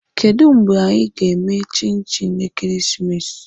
Kedu mgbe anyị ga-eme chinchi ekeresimesi?